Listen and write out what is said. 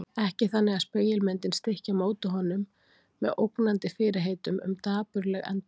Ekki þannig að spegilmyndin stykki á móti honum með ógnandi fyrirheitum um dapurleg endalok.